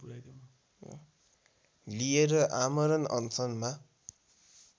लिएर आमरण अनसनमा